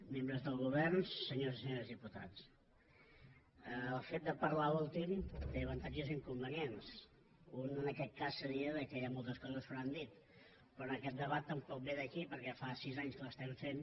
membres del govern senyores i senyors diputats el fet de parlar últim té avantatges i inconvenients un en aquest cas seria que hi han moltes coses que no han dit però en aquest debat tampoc ve d’aquí perquè fa sis anys que l’estem fent